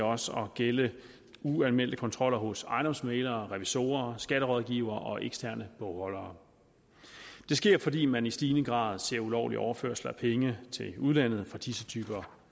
også at gælde uanmeldte kontroller hos ejendomsmæglere revisorer skatterådgivere og eksterne bogholdere det sker fordi man i stigende grad ser ulovlige overførsler af penge til udlandet fra disse typer